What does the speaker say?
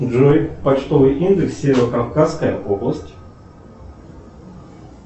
джой почтовый индекс северо кавказская область